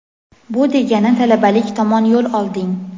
bu degani talabalik tomon yo‘l olding.